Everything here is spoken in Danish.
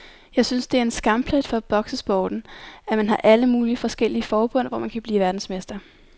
Jeg synes det er en skamplet for boksesporten, at man har alle mulige forskellige forbund, hvor man kan blive verdensmester.